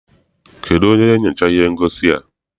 Kedụ onye nyochara ihe ngosi a?